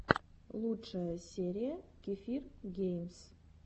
лучшая серия кефир геймс